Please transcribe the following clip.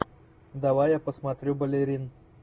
давай я посмотрю балерин